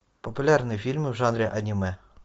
популярные фильмы в жанре аниме